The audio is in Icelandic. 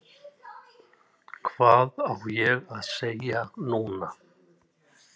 Hvað á ég að segja núna?